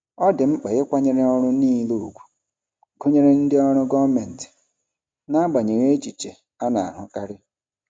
Ọ dị mkpa ịkwanyere ọrụ niile ùgwù, gụnyere ndị ọrụ gọọmentị, n'agbanyeghị echiche a na-ahụkarị.